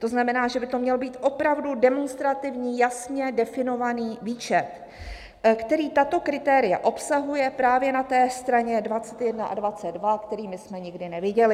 To znamená, že by to měl být opravdu demonstrativní, jasně definovaný výčet, který tato kritéria obsahuje právě na té straně 21 a 22 - který my jsme nikdy neviděli.